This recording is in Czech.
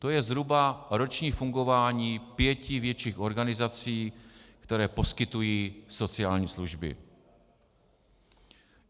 To je zhruba roční fungování pěti větších organizací, které poskytují sociální služby.